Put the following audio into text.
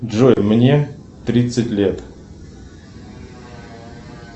джой мне тридцать лет